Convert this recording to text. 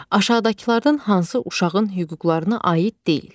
Aşağıdakılardan hansı uşağın hüquqlarına aid deyil?